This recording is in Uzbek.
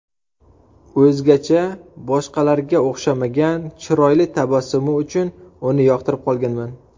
O‘zgacha, boshqalarga o‘xshamagan, chiroyli tabassumi uchun uni yoqtirib qolganman.